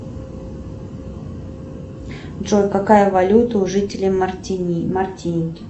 джой какая валюта у жителей мартини мартиники